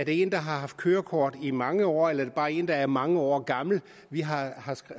en der har haft kørekort i mange år eller er det bare en der er mange år gammel vi har